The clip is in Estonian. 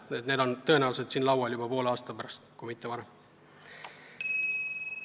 Need küsimused on tõenäoliselt siin laual juba poole aasta pärast, kui mitte varem.